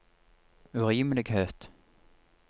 urimelighet